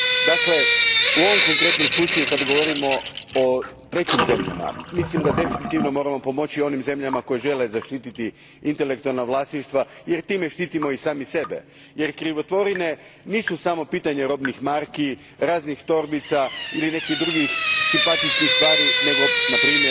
Dakle, u ovo konkretnom slučaju kad govorimo o trećim zemljama, mislim da definitivno moramo pomoći onim zemljama koje žele zaštititi intelektualna vlasništva jer time štitimo i sami sebe jer krivotvorine nisu samo pitanje robnih marki raznih torbica ili nekih drugih simpatičnih stvari nego npr.